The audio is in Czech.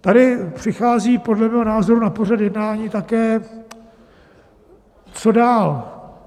Tady přichází podle mého názoru na pořad jednání také, co dál?